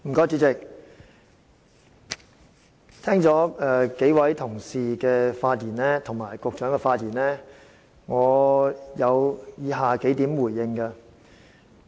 主席，聽罷幾位同事及局長的發言後，我有以下幾點回應。